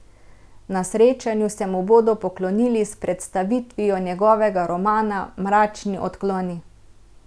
Na srečanju se mu bodo poklonili s predstavitvijo njegovega romana Mračni odkloni.